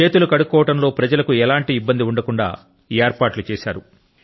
చేతులు కడుక్కోవడం లో ప్రజల కు ఎటువంటి ఇబ్బంది ఉండకుండా ఏర్పాట్లు చేశారు